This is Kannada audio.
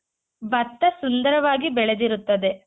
ಭತ್ತ ಸುಂದರವಾಗಿ ಬೆಳೆದಿರುತ್ತದೆ .